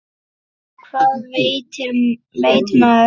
Hvað veit maður?